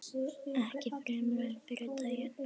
Ekki fremur en fyrri daginn.